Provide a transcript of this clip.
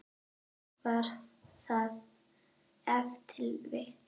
Var það ef til vill.